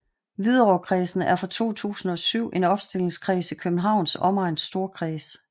Hvidovrekredsen er fra 2007 en opstillingskreds i Københavns Omegns Storkreds